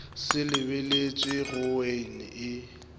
se lebeletšwe go wean e